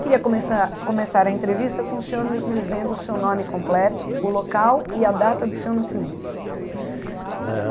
Queria começar começar a entrevista com o senhor nos dizendo o seu nome completo, o local e a data do seu nascimento. Eh